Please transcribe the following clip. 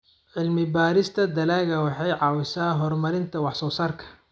Cilmi-baarista dalagga waxay caawisaa horumarinta wax-soo-saarka.